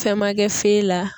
Fɛn ma kɛ la.